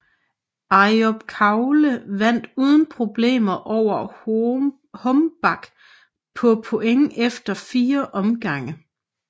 Ayub Kalule vandt uden problemer over Hombach på point efter 4 omgange